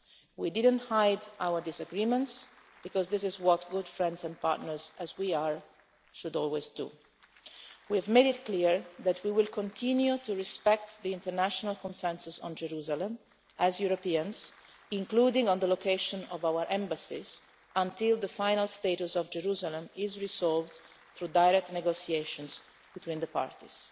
We did not hide our disagreements because this is what good friends and partners, as we are, should always do. We have made it clear that we will continue to respect the international consensus on Jerusalem as Europeans, including on the location of our embassies, until the final status of Jerusalem is resolved through direct negotiations between the parties.